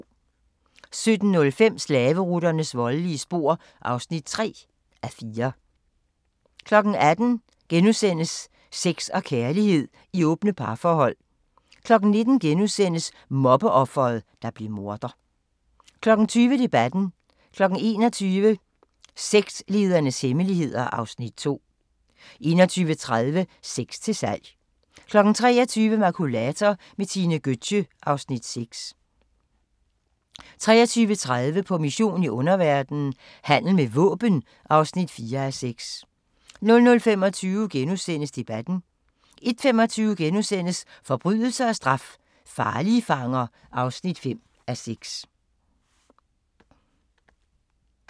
17:05: Slaveruternes voldelige spor (3:4) 18:00: Sex og kærlighed i åbne parforhold * 19:00: Mobbeofret, der blev morder * 20:00: Debatten 21:00: Sektlederens hemmeligheder (Afs. 2) 21:30: Sex til salg 23:00: Makulator med Tine Gøtzsche (Afs. 6) 23:30: På mission i underverdenen – Handel med våben (4:6) 00:25: Debatten * 01:25: Forbrydelse og straf – farlige fanger (5:6)*